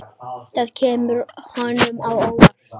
Það kemur honum á óvart.